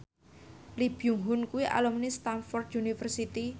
Lee Byung Hun kuwi alumni Stamford University